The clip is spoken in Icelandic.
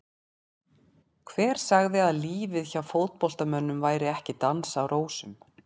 Hver sagði að lífið hjá fótboltamönnum væri ekki dans á rósum?